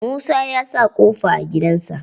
Musa ya sa ƙofa a gidan sa.